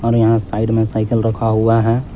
और यहां साइड में साइकल रखा हुआ है।